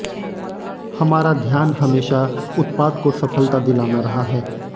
हमारा ध्यान हमेशा उत्पाद को सफलता दिलाना रहा है